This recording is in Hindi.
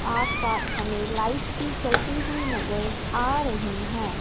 आस पास हमें लाइट्स भी जलती हुई नजर आ रही है।